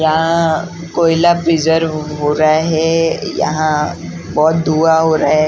यहाँ कोयला हो रहा है यहाँ बहुत धुआँ हो रहा है।